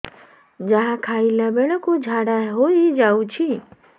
ଯାହା ଖାଇଲା ବେଳକୁ ଝାଡ଼ା ହୋଇ ଯାଉଛି